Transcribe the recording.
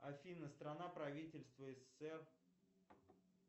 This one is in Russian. афина страна правительства ссср